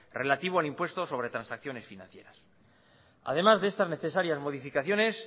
relativo al impuesto sobre transacciones financieras además de estas necesarias modificaciones